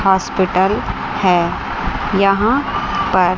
hospital है यहां पर --